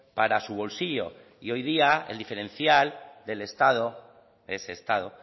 para su bolsillo y hoy día el diferencial del estado ese estado